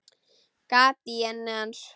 Gat í enni hans.